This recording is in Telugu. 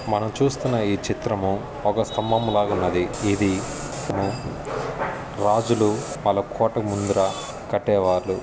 మనం చూస్తున్న ఈ చిత్రము ఒక స్థంభం లాగున్నది ఇది రాజులు వాళ్ళ కోట ముందర కట్టేవాళ్ళు.